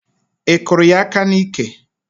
Ị kụrụ ya aka n'iké?